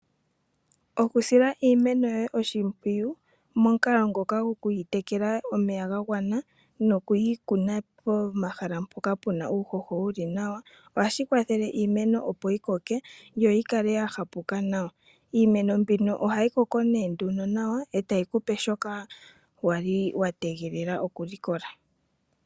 Okusila iimeno yoye oshimpwiyu momukalo ngoka go ku yi tekela omeya ga gwana, noku yi kuna pomahala mpoka puna uuhoho wuli nawa, ohashi kwathele iimeno opo yi koke, yo yi kale ya hapuka nawa. Iimeno mbino ohayi koko nee nduno nawa, e tayi ku pe shoka wali wa tegelela okulikola.